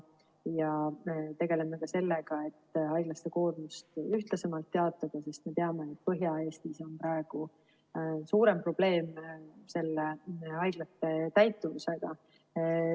Tegeleme ka sellega, et haiglate koormust ühtlasemalt jaotada, sest me teame, et Põhja-Eestis on praegu suurem probleem haiglate täituvusega.